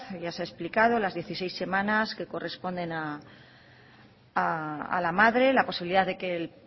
ya se ha explicado las dieciséis semanas que corresponden a la madre la posibilidad de que el